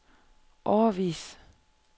årevis